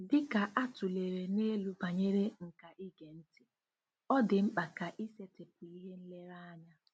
Dị ka a tụlere n'elu banyere nkà ige ntị, ọ dị mkpa ka isetịpụ ihe nlereanya.